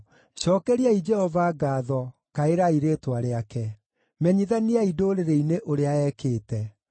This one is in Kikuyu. Cookeriai Jehova ngaatho, kaĩrai rĩĩtwa rĩake; menyithaniai ndũrĩrĩ-inĩ ũrĩa ekĩte.